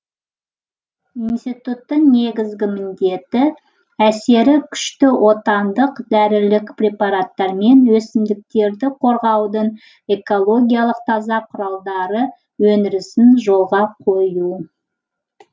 институттың негізгі міндеті әсері күшті отандық дәрілік препараттар мен өсімдіктерді қорғаудың экологиялық таза құралдары өндірісін жолға қою